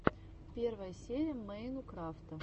первая серия мэйнукрафта